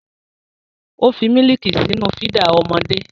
Ó fi mílíìkì sínú fídà ọmọdé.